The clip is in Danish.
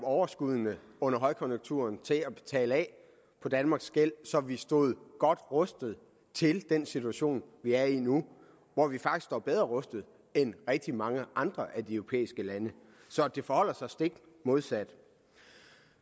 overskuddene under højkonjunkturen til at betale af på danmarks gæld så vi stod godt rustet til den situation vi er i nu hvor vi faktisk står bedre rustet end rigtig mange andre af de europæiske lande så det forholder sig stik modsat